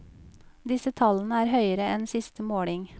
Disse tallene er høyere enn siste måling.